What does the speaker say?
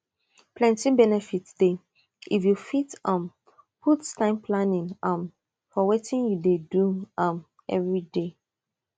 plenty benefit dey if you fit um put time planning um for wetin you dey do um everyday